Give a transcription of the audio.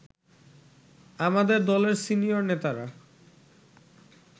আমাদের দলের সিনিয়র নেতারা